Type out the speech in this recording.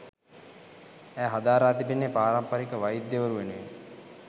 ඇය හදාරා තිබෙන්නේ පාරම්පරික වෛද්‍ය වරු වෙනුවෙන්